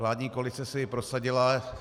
Vládní koalice si ji prosadila.